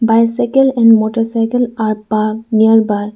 bicycle and motorcycle are parked nearby.